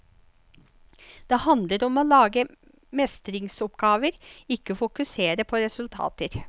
Det handler om å lage mestringsoppgaver, ikke fokusere på resultater.